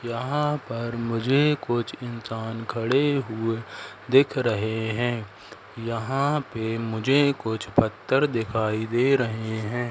यहां पर मुझे कुछ इंसान खड़े हुए दिख रहे हैं यहां पे मुझे कुछ पत्थर दिखाई दे रहे हैं।